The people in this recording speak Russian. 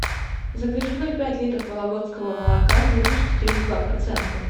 закажи ноль пять литров вологодского молока жирностью три и два процента